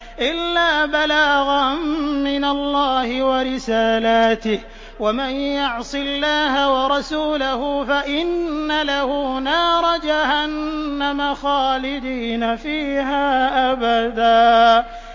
إِلَّا بَلَاغًا مِّنَ اللَّهِ وَرِسَالَاتِهِ ۚ وَمَن يَعْصِ اللَّهَ وَرَسُولَهُ فَإِنَّ لَهُ نَارَ جَهَنَّمَ خَالِدِينَ فِيهَا أَبَدًا